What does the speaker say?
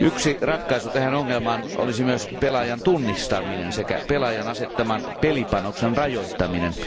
Yksi ratkaisu tähän ongelmaan olisi myös pelaajan tunnistaminen sekä pelaajan asettaman pelipanoksen rajoittaminen.